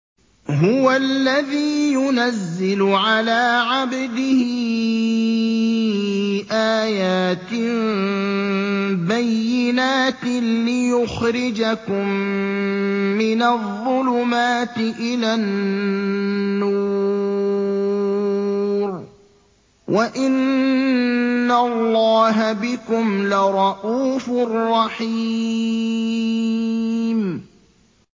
هُوَ الَّذِي يُنَزِّلُ عَلَىٰ عَبْدِهِ آيَاتٍ بَيِّنَاتٍ لِّيُخْرِجَكُم مِّنَ الظُّلُمَاتِ إِلَى النُّورِ ۚ وَإِنَّ اللَّهَ بِكُمْ لَرَءُوفٌ رَّحِيمٌ